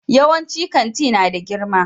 Yawancin kanti na da girma